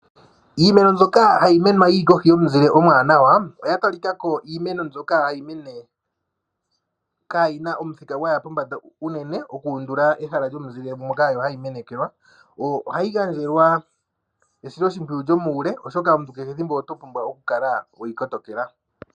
Iimeno mbyoka hayi kunwa yi li kohi yomuzile omwaanawa oya talika ko kutya iimeno mbyoka hayi mene kaayi na omuthika gwa ya pombanda unene okuundula ehala lyomuzile moka hayi menekelwa. Ohayi pumbwa esiloshimpwiyu lyomuule, oshoka omuntu kehe ethimbo oto pumbwa okukala we yi kotokela.